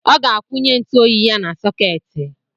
Ọ ga-akwụnye ntụoyi ya na sọketi.